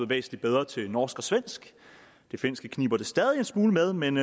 væsentlig bedre til norsk og svensk det finske kniber det stadig en smule med men